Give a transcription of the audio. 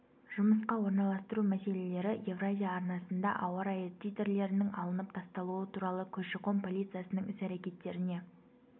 жұмысқа орналастыру мәселелері евразия арнасында ауа-райы титрлерінің алынып тасталуы туралы көші-қон полициясының іс-әрекеттеріне